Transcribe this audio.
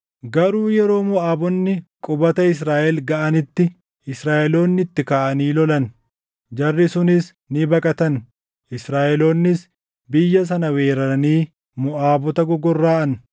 Garuu yeroo Moʼaabonni qubata Israaʼel gaʼanitti, Israaʼeloonni itti kaʼanii lolan; jarri sunis ni baqatan. Israaʼeloonnis biyya sana weeraranii Moʼaabota gogorraʼan.